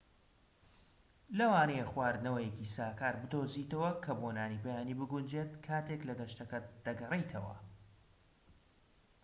لەوانەیە خواردنەوەیەکی ساکار بدۆزیتەوە کە بۆ نانی بەیانی بگونجێت کاتێك لەگەشتەکەت دەگەڕێیتەوە